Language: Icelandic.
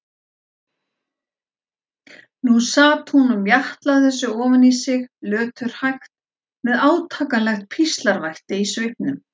Nú sat hún og mjatlaði þessu ofan í sig, löturhægt, með átakanlegt píslarvætti í svipnum.